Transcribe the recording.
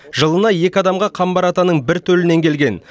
жылына екі адамға қамбар атаның бір төлінен келген